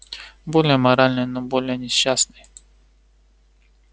более моральный но более несчастный